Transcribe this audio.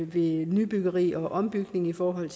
ved nybyggeri og ombygning i forhold